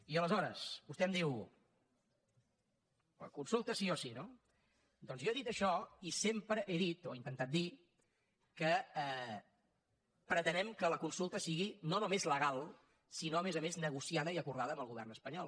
i aleshores vostè em diu consulta sí o sí no doncs jo he dit això i sempre he dit o he intentat dir que pretenem que la consulta sigui no només la legal sinó a més a més negociada i acordada amb el govern espanyol